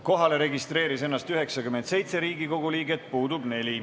Kohale registreeris ennast 97 Riigikogu liiget, puudub 4.